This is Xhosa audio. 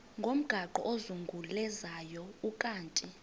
ngomgaqo ozungulezayo ukanti